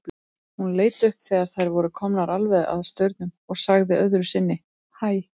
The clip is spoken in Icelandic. Hún leit upp þegar þær voru komnar alveg að staurnum og sagði öðru sinni hæ.